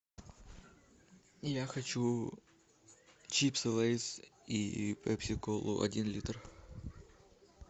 я хочу чипсы лейс и пепси колу один литр